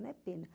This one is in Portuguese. Não é pena.